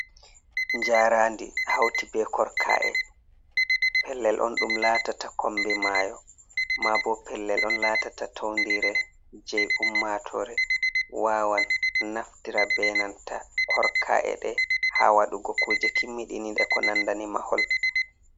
Jarandi hauti be korka’e, pellel on ɗum latata kombi mayo, ma bo pellel on latata toundire, jei ummatore wawan naftira benanta korka’e ɗe, ha waɗugo kuje kimmiɗiniɗe ko nanda ni mahol.